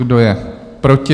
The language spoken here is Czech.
Kdo je proti?